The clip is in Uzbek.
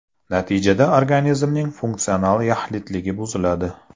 Natijada organizmning funksional yaxlitligi buziladi.